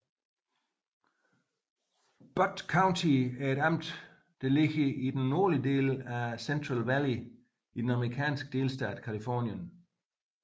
Butte County er et amt beliggende i den nordlige del af Central Valley i den amerikanske delstat Californien